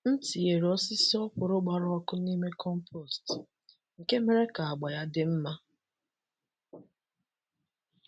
M tinyere osisi okwụrụ gbara ọkụ n’ime compost, nke mere ka agba ya dị mma.